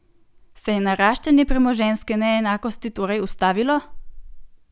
Se je naraščanje premoženjske neenakosti torej ustavilo?